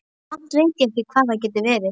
Samt veit ég ekki hvað það getur verið.